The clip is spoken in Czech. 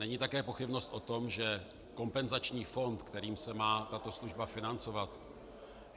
Není také pochybnost o tom, že kompenzační fond, kterým se má tato služba financovat -